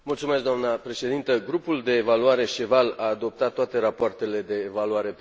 Grupul de evaluare SCH EVAL a adoptat toate rapoartele de evaluare pentru România.